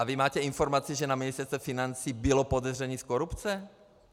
A vy máte informaci, že na Ministerstvu financí bylo podezření z korupce?